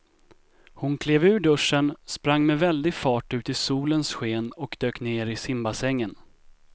Hon klev ur duschen, sprang med väldig fart ut i solens sken och dök ner i simbassängen.